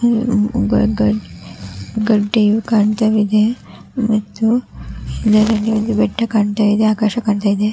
ಗಡ್ಡೆಯು ಕಾಣ್ತಾವಿದೆ ಮತ್ತು ಮೇಲೆ ಒಂದು ಬೆಟ್ಟ ಕಾಣ್ತಾ ಇದೆ ಆಕಾಶ ಕಾಣ್ತಾ ಇದೆ .